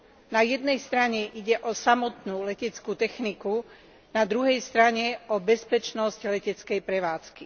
Na jednej strane ide o samotnú leteckú techniku, na druhej strane o bezpečnosť leteckej prevádzky.